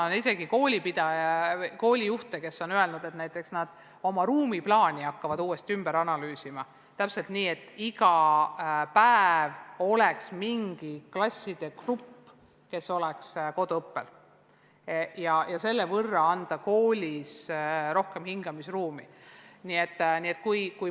On isegi selliseid koolijuhte, kes on öelnud, et nad hakkavad oma ruumiplaani uuesti analüüsima, et iga päev oleks üks klasside grupp koduõppel ja selle võrra koolis rohkem hingamisruumi.